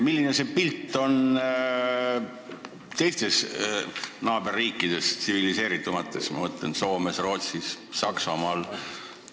Milline on see pilt meie naaberriikides, tsiviliseeritumates, ma mõtlen, Soomes, Rootsis, Saksamaal?